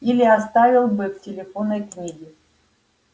или оставил бы в телефонной книге